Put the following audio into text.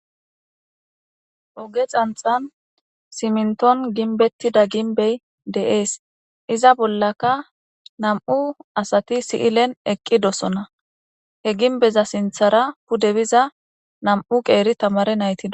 oge xanxan siminton ginbettida ginbey de7ees iza bollaka nam7u asati si7ilen eqqi dosona he ginbeza sinthara pudebiza nam7u qeeri tamare naytida